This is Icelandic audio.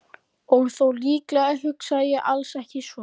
Og þó, líklega hugsaði ég alls ekki svona.